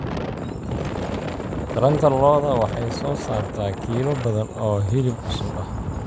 Taranta lo'da lo'da waxay soo saartaa kiilo badan oo hilib cusub ah.